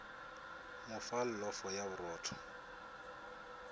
mo fa llofo ya borotho